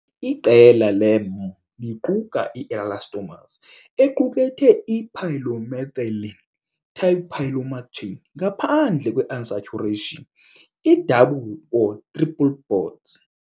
Iqela le-M liquka i-elastomers equkethe i-polymethylene-type polymer chain ngaphandle kwe-unsaturation i-double or triple bods .